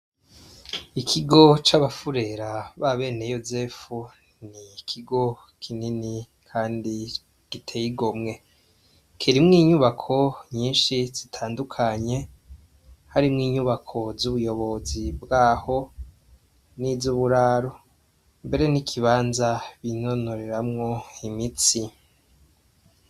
Ikigo c'abafurera ba bene yosefu ni ikigo kinini, kandi gitegomwe kerimwo inyubako nyinshi zitandukanye harimwo inyubako z'ubuyobozi bwaho n'izo uburaru mbere n'ikibanza bine nontoreramwo imitsi.